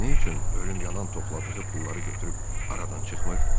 Bəs nə üçün ölüm yalan topladığı pulları götürüb aradan çıxmır?